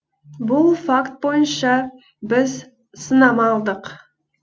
бұл факт бойынша біз сынама алдық